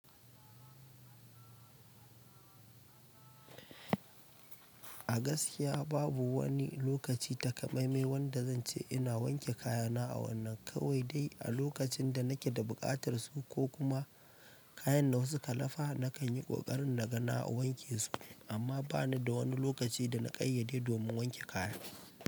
A gaskiya babu wani lokaci takamaime wanda zan ce ina wanke kayana a wannan, kawai dai a lokacin da nake da buƙatar su ko kuma kayan da wasu ka lafa nakan yi ƙoƙarin na ga na wanke su amma bani da wani lokaci da na ƙayyade domin wanke kaya.